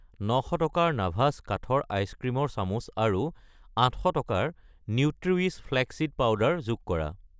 900 টকাৰ নাভাস কাঠৰ আইচক্ৰীমৰ চামুচ আৰু 800 টকাৰ নিউট্ৰিৱিছ ফ্লেক্স চিড পাউডাৰ যোগ কৰা।